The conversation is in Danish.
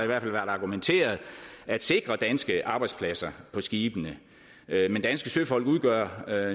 været argumenteret at sikre danske arbejdspladser på skibene men danske søfolk udgør